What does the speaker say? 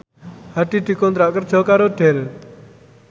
Hadi dikontrak kerja karo Dell